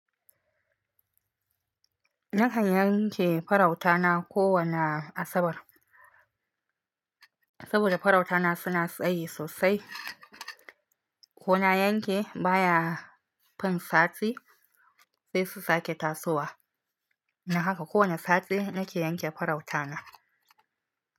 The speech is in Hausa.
Na kan yanke farautana kowana Asabar, saboda farautana suna tsayi sosai. Kona yanke baya fin sati sai su sake tasowa. Dam haka kowana sati na ke yanke farautana.